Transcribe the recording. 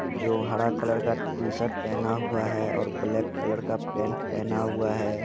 जो हरा कलर का टी-शर्ट पहना हुआ है और ब्लेक कलर का पेन्ट पहना हुआ है।